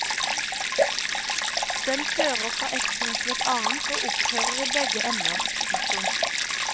Den fører fra ett punkt til et annet og opphører i begge ender. punktum